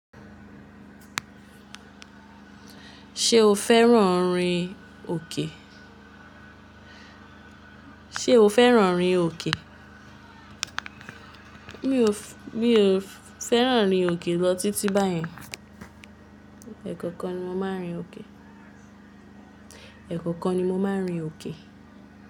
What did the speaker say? Ṣé o fẹ́ràn rin òkè? Ṣé o fẹ́ràn rin òkè? Mi ò fẹ́ràn rin òkè lọ títí báyìí. Ẹ̀kọ̀kan ni mo máa ń rin òkè. Ẹ̀kọ̀kan ni mo máa ń rin òkè.